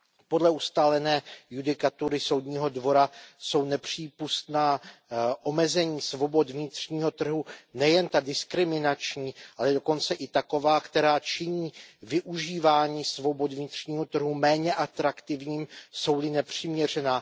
Podle ustálené judikatury Soudního dvora jsou nepřípustná omezení svobod vnitřního trhu, nejen ta diskriminační, ale dokonce i taková, která činí využívání svobod vnitřního trhu méně atraktivním, jsou li nepřiměřená.